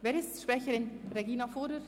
Wer ist Sprecherin? – Regina Fuhrer-Wyss.